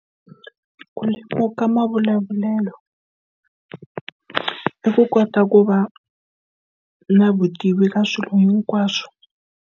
Ku lemuka mavulavulelo i ku kota ku va na vutivi ra swilo hinkwaswo.